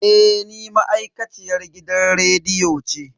Eh ni ma'aikaciyar gidan rediyo ce.